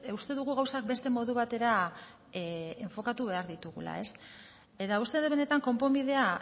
uste dugu gauzak beste modu batera enfokatu behar ditugula eta uste dut benetan konponbidea